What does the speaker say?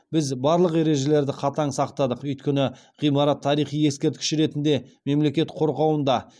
біз барлық ережелерді қатаң сақтадық өйткені ғимарат тарихи ескерткіш ретінде мемлекет қорғауында